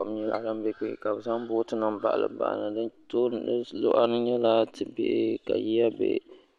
Kom nyɛla din bɛ kpɛ ka bi zaŋ booti nim baɣali baɣali di luɣa ni nyɛla ti bihi yiya bɛ